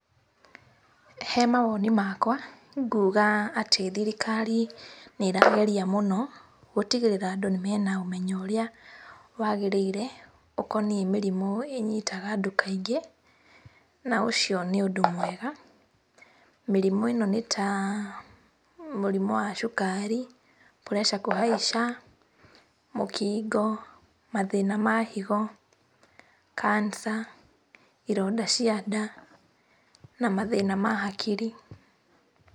He mawoni makwa, nguga atĩ thirikari nĩĩrageria mũno gũtigĩrĩra andũ nĩ mena ũmenyo ũrĩa wagĩrĩire ũkoniĩ mĩrimũ ĩnyitaga andũ kaingĩ, na ũcio nĩ ũndũ mwega. Mĩrimũ ĩno nĩ ta mũrimũ wa cukari, pressure kũhaica, mũkingo, mathĩna ma higo, cancer , ironda cia nda, na mathĩna ma hakiri.